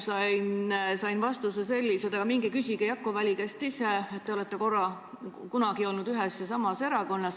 Sain vastuse, et minge küsige Jakko Väli käest ise, te olete kunagi olnud ühes ja samas erakonnas.